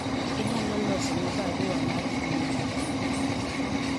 inyalo loso na barua mar mbui mar email